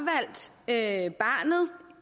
at er